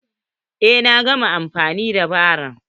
Eh, na gama amfani da baro.